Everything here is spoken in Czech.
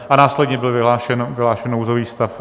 A následně byl vyhlášen nouzový stav.